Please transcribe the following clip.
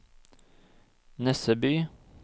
Nesseby